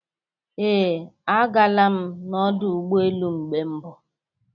Ee. Agala m n'ọdụ ụgbọ elu mgbe mbụ